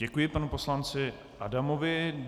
Děkuji panu poslanci Adamovi.